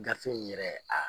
Gafe in yɛrɛ, a